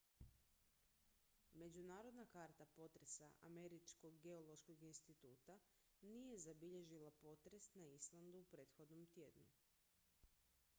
međunarodna karta potresa američkog geološkog instituta nije zabilježila potres na islandu u prethodnom tjednu